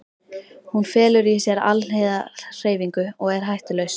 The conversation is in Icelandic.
Hún felur í sér alhliða hreyfingu og er hættulaus.